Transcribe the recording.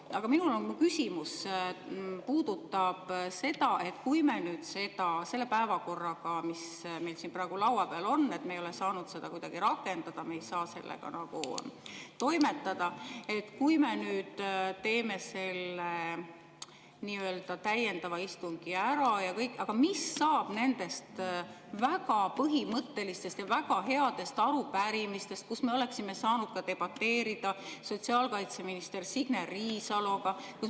Aga minu küsimus puudutab seda, et kui me nüüd seda päevakorda, mis meil praegu laua peal on, ei saa kuidagi rakendada, me ei saa sellega toimetada ja kui me teeme ära selle täiendava istungi ja kõik, mis siis saab nendest väga põhimõttelistest ja väga headest arupärimistest, mille alusel me oleksime saanud debateerida sotsiaalkaitseminister Signe Riisaloga.